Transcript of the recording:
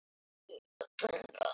Gjarnan lítið eitt súr.